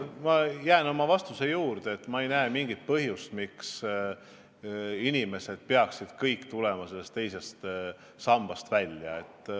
Ma jään oma vastuse juurde, et ma ei näe mingit põhjust, miks inimesed peaksid teisest sambast loobuma.